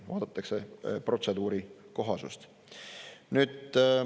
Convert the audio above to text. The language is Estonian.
Vaadatakse protseduuri kohasust.